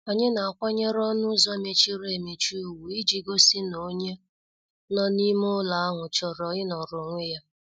Anyị na- akwanyere ọnụ ụzọ emechiri emechi ugwu iji gosi na onye nọ n' ime ụlọ ahụ chọrọ inoro onwe ya.